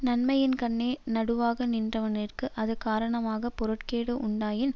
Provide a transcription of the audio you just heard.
நன்மையின்கண்ணே நடுவாக நின்றவநிற்கு அது காரணமாக பொருட்கேடு உண்டாயின்